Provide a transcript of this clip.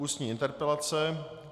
Ústní interpelace